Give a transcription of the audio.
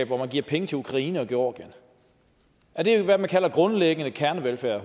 hvor man giver penge til ukraine og georgien er det hvad man kalder grundlæggende kernevelfærd